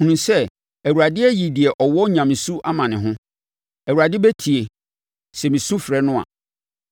Hunu sɛ Awurade ayi deɛ ɔwɔ nyamesu ama ne ho; Awurade bɛtie, sɛ mesu mefrɛ no a.